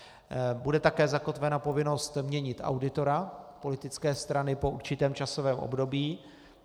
Bude také zakotvena povinnost měnit auditora politické strany po určitém časovém období.